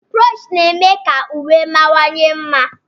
Brochi na-eme ka uwe mawanye mma.